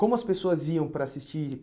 Como as pessoas iam para assistir?